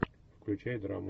включай драму